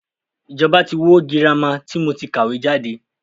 Ìjọba tí wó girama tí mo ti kàwé jáde.